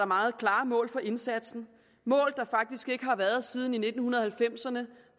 meget klare mål for indsatsen mål der faktisk ikke har været der siden nitten halvfemserne